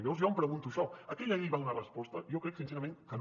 llavors jo em pregunto això aquella llei va donar resposta jo crec sincerament que no